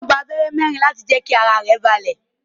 Ó gba abẹ́rẹ́ mẹ́ẹ̀rin láti mú kí ara rẹ̀ balẹ̀